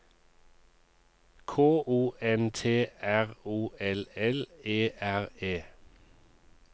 K O N T R O L L E R E